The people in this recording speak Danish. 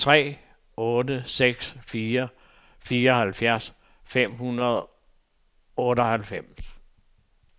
tre otte seks fire fireoghalvfjerds fem hundrede og otteoghalvfems